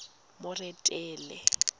moretele